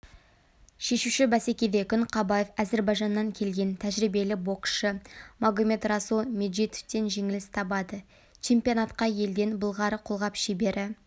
шешуші бәсекеде күнқабаев әзірбайжаннан келген тәжірибелі боксшы магомедрасул меджидовтен жеңіліс табады чемпионатқа елден былғары қолғап шебері